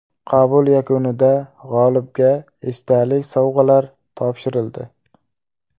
Qabul yakunida g‘olibga esdalik sovg‘alar topshirildi.